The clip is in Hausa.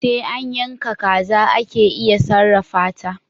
Sai an yaka kaza ake iya sarrafata